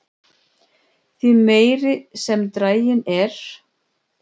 því meiri sem draginn er